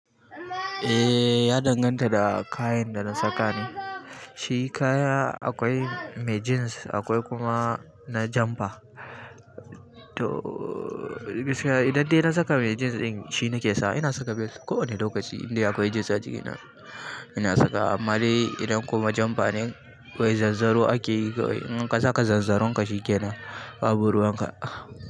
Eh, ya danganta da kayan da na saka ne. Shi kaya akwai mai jeans akwai kuma na jamper. To gaskiya idan dai na saka mai jeans ɗin shi nake sa. Ina saka vest kowane lokaci idan akwai jeans a jikina. Ina sakawa. Amma dai idan kuma jamper ne ƙwai zanzaro ake yi. In ka saka zanzaron ka shikenan, babu ruwan ka.